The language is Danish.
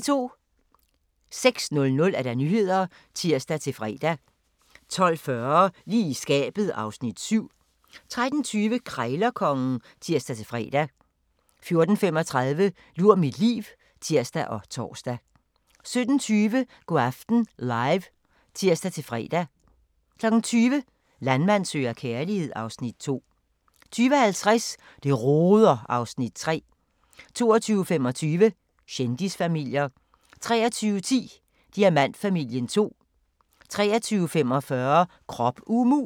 06:00: Nyhederne (tir-fre) 12:40: Lige i skabet (Afs. 7) 13:20: Krejlerkongen (tir-fre) 14:35: Lur mit liv (tir og tor) 17:20: Go' aften Live (tir-fre) 20:00: Landmand søger kærlighed (Afs. 2) 20:50: Det roder (Afs. 3) 22:25: Kendisfamilier 23:10: Diamantfamilien 2 23:45: Krop umulig!